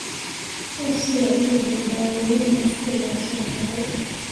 Uu Sii cunuga daawooyinkan sidhi loo soo qoraay .